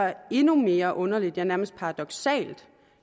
endnu mere underligt ja nærmest paradoksalt